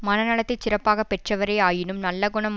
மனநலத்தைச் சிறப்பாக பெற்றவரே ஆயினும் நல்ல குணம்